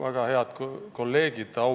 Väga head kolleegid!